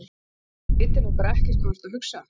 Ég held að þú vitir nú bara ekkert hvað þú ert að hugsa!